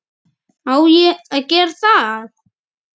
Á ÉG að gera það!!??